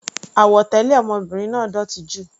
Àwọ̀ tẹlẹ ọmọbìnrin náà dótì jù.